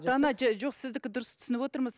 жоқ сіздікі дұрыс түсініп отырмыз